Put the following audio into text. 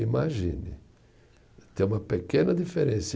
Imagine, tem uma pequena diferença.